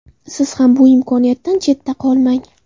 Siz ham bu imkoniyatdan chetda qolmang.